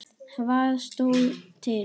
Hvað stóð til?